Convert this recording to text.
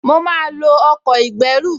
Mo máa lo ọkọ̀ ìgbẹ́rù